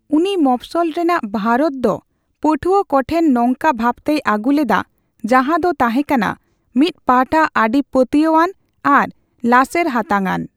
ᱩᱱᱤ ᱢᱚᱯᱷᱥᱵᱚᱞ ᱨᱮᱱᱟ ᱵᱷᱟᱨᱚᱛ ᱫᱚ ᱯᱟᱹᱴᱷᱩᱭᱟᱹ ᱠᱚᱴᱷᱮᱱ ᱱᱚᱝᱠᱟ ᱵᱷᱟᱵᱛᱮᱭ ᱟᱜᱩ ᱞᱮᱫᱟ ᱡᱟᱦᱟ ᱫᱚ ᱛᱟᱸᱦᱮ ᱠᱟᱱᱟ ᱢᱤᱫ ᱯᱟᱦᱴᱟ ᱟᱰᱤ ᱯᱟᱹᱛᱭᱟᱹᱣ ᱟᱱ ᱟᱨ ᱞᱟᱥᱮᱨ ᱦᱟᱛᱟᱝ ᱟᱱ ᱾